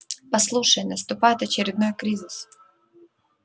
послушай наступает очередной кризис